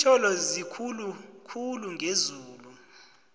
lintjolo zikhulu khulu ngezulu